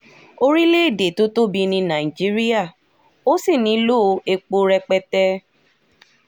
orílẹ̀‐èdè tó tóbi ní nàìjíríà a sì nílò epo rẹpẹtẹ